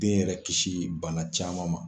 Den yɛrɛ kisi min bana caman ma.